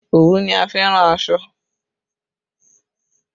Òwú ni a fi ń rán aṣọ